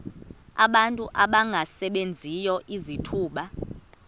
abantu abangasebenziyo izithuba